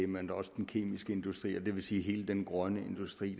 men også den kemiske industri det vil sige hele den grønne industri